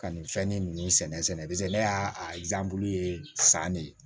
Ka nin fɛn ni nunnu sɛnɛ ne y'a san ne